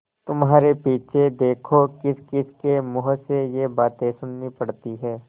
तुम्हारे पीछे देखो किसकिसके मुँह से ये बातें सुननी पड़ती हैं